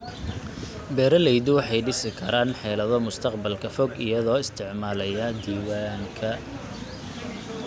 Beeraleydu waxay dhisi karaan xeelado mustaqbalka fog iyagoo isticmaalaya diiwaanka.